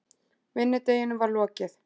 Vinnudeginum var lokið.